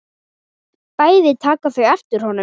Bæði taka þau eftir honum.